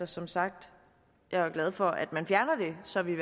som sagt er jeg glad for at man fjerner det så vi